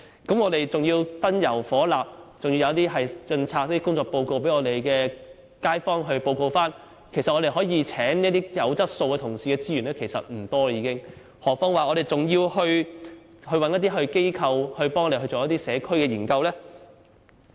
另外還有燈油火蠟的開支，又要印刷工作報告，向街坊匯報，令用以聘請有質素的同事的資源所餘無幾，更何況我們還要委託機構協助進行社區研究呢？